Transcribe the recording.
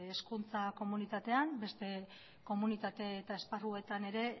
hezkuntza komunitatean beste komunitate eta esparruetan ere